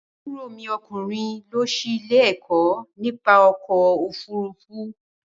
Àbúrò mi ọkùnrin lọ sí ilé-ẹ̀kọ́ nípa ọkọ̀-ofurufú.